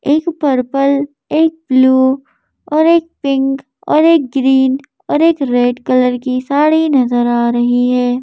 एक पर्पल एक ब्लू और एक पिंक और एक ग्रीन और एक रेड कलर की साड़ी नजर आ रही है।